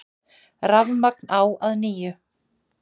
Rafmagn á að nýju